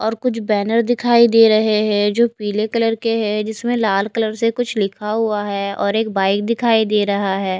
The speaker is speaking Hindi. और कुछ बैनर दिखाई दे रहे हैं जो पीले कलर के हैं जिसमें लाल कलर से कुछ लिखा हुआ है और एक बाइक दिखाई दे रहा है।